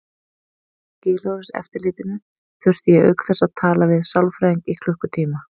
Skilorðseftirlitinu þurfti ég auk þess að tala við sálfræðing í klukkutíma.